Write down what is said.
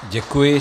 Děkuji.